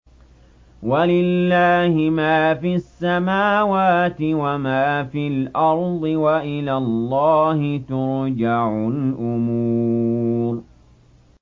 وَلِلَّهِ مَا فِي السَّمَاوَاتِ وَمَا فِي الْأَرْضِ ۚ وَإِلَى اللَّهِ تُرْجَعُ الْأُمُورُ